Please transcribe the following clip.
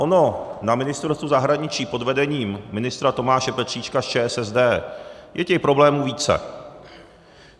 Ono na Ministerstvu zahraničí pod vedením ministra Tomáše Petříčka z ČSSD je těch problémů více.